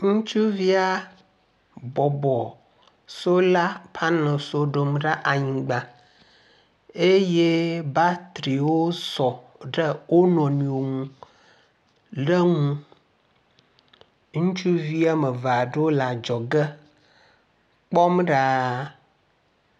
Ŋutsuvia bɔbɔ sola paneliswo ɖom ɖe anyigba eye batriwo sɔ ɖe wonɔnuiwo ŋu ɖe ŋu. Ŋutsuvi wome eve aɖewo le adzɔge kpɔm ɖaa.